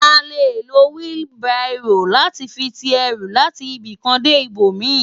À lé ló wili báró làti fi ti èrú làti ibikán dé ibómi